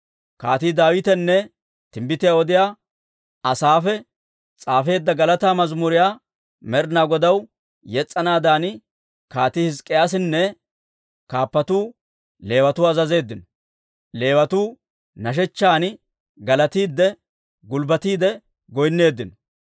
Kaatii Daawitenne timbbitiyaa odiyaa Asaafe s'aafeedda galataa mazimuriyaa Med'inaa Godaw yes's'anaadan Kaatii Hizk'k'iyaasinne kaappatuu Leewatuwaa azazeeddino; Leewatuu nashechchan galattiide, gulbbatiide goynneeddino.